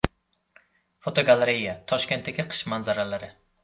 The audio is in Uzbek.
Fotogalereya: Toshkentdagi qish manzaralari.